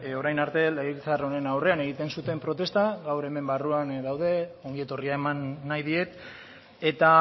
orain arte legebiltzar honen aurrean egiten zuten protesta gaur hemen barruan daude ongi etorria eman nahi diet eta